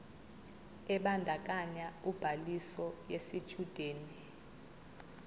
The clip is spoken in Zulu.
ebandakanya ubhaliso yesitshudeni